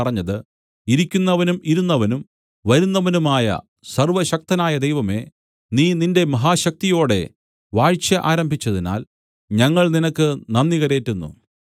പറഞ്ഞത് ഇരിക്കുന്നവനും ഇരുന്നവനും വരുന്നവനുമായ സർവ്വശക്തനായ ദൈവമേ നീ നിന്റെ മഹാശക്തിയോടെ വാഴ്ച ആരംഭിച്ചതിനാൽ ഞങ്ങൾ നിനക്ക് നന്ദി കരേറ്റുന്നു